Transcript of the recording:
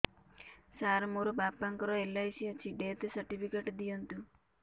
ସାର ମୋର ବାପା ଙ୍କର ଏଲ.ଆଇ.ସି ଅଛି ଡେଥ ସର୍ଟିଫିକେଟ ଦିଅନ୍ତୁ